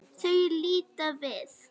Þau líta við.